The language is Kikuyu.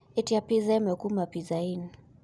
ĩtĩa pizza ĩmwe kũma pizza inn